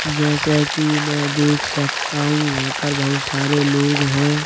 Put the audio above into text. जैसे कि मैं देख सकता हूं यहाँ पर बहुत सारे लोग हैं।